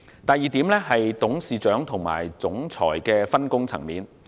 第二，董事長與總裁的分工。